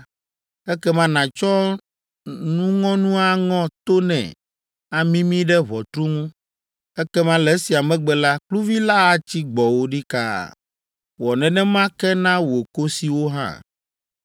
ekema nàtsɔ nuŋɔnu aŋɔ to nɛ amimi ɖe ʋɔtru ŋu, ekema le esia megbe la, kluvi la atsi gbɔwò ɖikaa. Wɔ nenema ke na wò kosiwo hã.